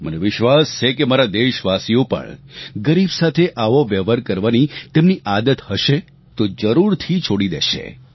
મને વિશ્વાસ છે કે મારા દેશવાસીઓ પણ ગરીબ સાથે આવો વ્યવહાર કરવાની તેમની આદત હશે તો જરૂરથી છોડી દેશે